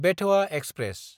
बेथोआ express